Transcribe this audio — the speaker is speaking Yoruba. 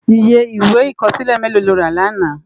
Iyé iwé ikòsilé méló ló rá làná?